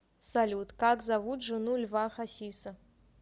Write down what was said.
салют как зовут жену льва хасиса